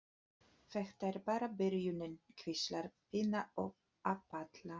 Þetta er bara byrjunin, hvíslar Pína að Palla.